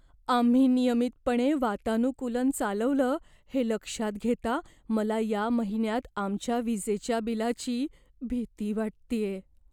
आम्ही नियमितपणे वातानुकूलन चालवलं हे लक्षात घेता मला या महिन्यात आमच्या विजेच्या बिलाची भीती वाटतेय.